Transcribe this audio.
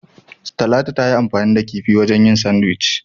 Talatu tayi anfani da kifi wajen yin "Sandwich".